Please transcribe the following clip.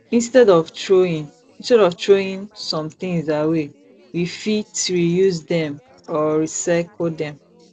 instead of throwing instead of throwing some things away we fit reuse them or recycle them